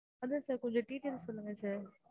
அதான் sir கொஞ்சம் details சொல்லுங்க sir